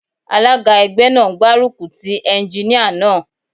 Alága ẹgbẹ́ náà ń gbárùkù tí Éúnjíníà náà